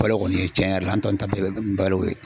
Balo kɔni cɛn yɛrɛ la an tɔ nun ta bɛɛ balo ye.